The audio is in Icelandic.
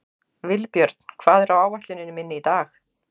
Vilbjörn, hvað er á áætluninni minni í dag?